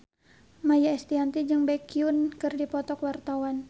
Maia Estianty jeung Baekhyun keur dipoto ku wartawan